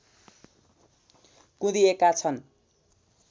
कुँदिएका छन्